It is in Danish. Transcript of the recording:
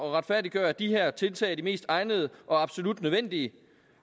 at retfærdiggøre at de her tiltag er de mest egnede og absolut nødvendige